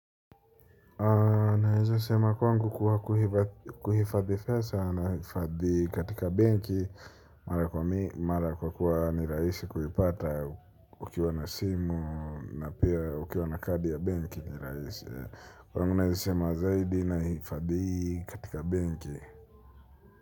Naweza kwangu kuwa kuhifadhi fedha nahifadhi katika benki. Mara kwakuwa ni rahisi kuipata ukiwa na simu na pia ukiwa na kadi ya benki ni rahisi kwangu ninasema zaidi nahifadhi katika benki.